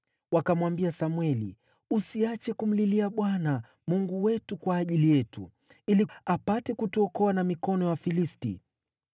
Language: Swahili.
Wakamwambia Samweli, “Usiache kumlilia Bwana , Mungu wetu, kwa ajili yetu, ili apate kutuokoa na mikono ya Wafilisti.”